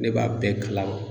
Ne b'a bɛɛ kalama.